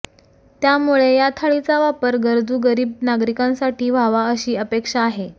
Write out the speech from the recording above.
त्यामुळे या थाळीचा वापर गरजू गरीब नागरिकांसाठी व्हावा अशी अपेक्षा आहे